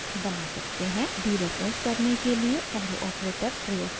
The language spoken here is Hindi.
डीरेफरेंस करने के लिए एरो ऑपरेटर > प्रयोग करें